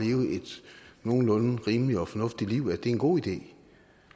nogenlunde rimeligt og fornuftigt liv er en god idé